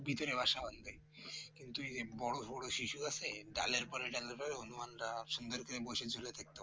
ভিতরে বাসা বাঁধবে কিন্তু বড় বড় শিশু গাছে ডালের পরে ডালে হনুমানরা সুন্দর করে বসে ঝুলে থাকতো